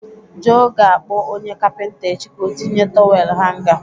Joe ga-akpọ onye kapịnta echi ka ọ tinye tọwel hanga.